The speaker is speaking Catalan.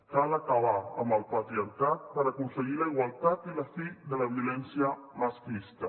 cal acabar amb el patriarcat per aconseguir la igualtat i la fi de la violència masclista